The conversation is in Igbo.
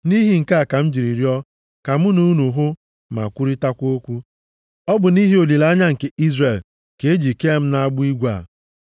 Nʼihi nke a, ka m jiri rịọọ ka mụ na unu hụ ma kwurịtakwa okwu. Ọ bụ nʼihi olileanya nke Izrel ka e ji kee m nʼagbụ igwe a.”